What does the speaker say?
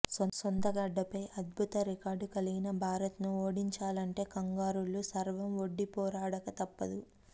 సొంతగడ్డపై అద్భుత రికార్డు కలిగిన భారత్ను ఓడించాలంటే కంగారూలు సర్వం ఒడ్డి పోరాడక తప్పదు